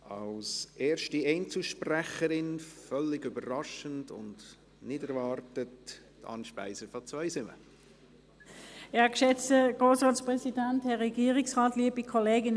Als erste Einzelsprecherin, völlig überraschend und nicht erwartet: Anne Speiser aus Zweisimmen.